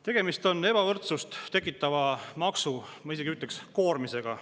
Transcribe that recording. Tegemist on ebavõrdsust tekitava maksuga, ma isegi ütleksin, et koormisega.